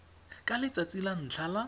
ka letsatsi la ntlha la